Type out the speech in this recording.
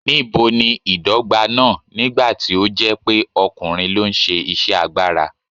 Níbo ni ìdọ́gba náà, nígbà tí ó jẹ́ pé ọkùnrin ló ń ṣe iṣẹ́ agbára?